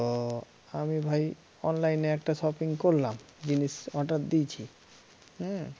দিয়েছি হে